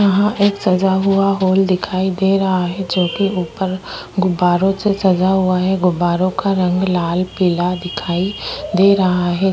यहाँ एक सजा हुआ हॉल दिखाई दे रहा है जो कि ऊपर गुब्बारों से सजा हुआ है गुब्बारों रंग लाल पीला दिखाई दे रहा है।